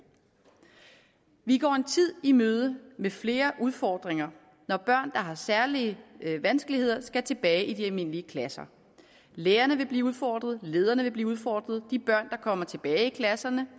vi går en tid i møde med flere udfordringer når børn har særlige vanskeligheder skal tilbage i de almindelige klasser lærerne vil blive udfordret lederne vil blive udfordret de børn der kommer tilbage i klasserne